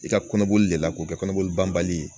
I ka kɔnɔboli de la k'o kɛ kɔnɔboli banbali ye